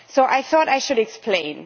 So I thought I should explain.